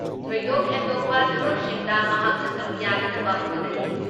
ꯊꯣꯏꯗꯣꯛ ꯍꯦꯟꯗꯣꯛꯄ ꯊꯕꯛꯁꯤꯡꯗ ꯃꯍꯥꯛꯅ ꯁꯔꯨꯛ ꯌꯥꯅꯅꯕ ꯍꯣꯠꯅꯔꯤ ꯫